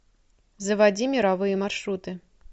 заводи мировые маршруты